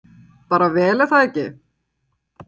Björn Rúnar Guðmundsson: Bara vel er það ekki?